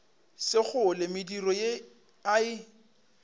sekgole mediro ye a e